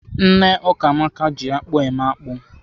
Nne Ukamaka ji akpụ eme akpụ.